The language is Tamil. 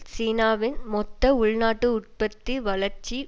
சீனாவின் மொத்த உள்நாட்டு உற்பத்தி வளர்ச்சி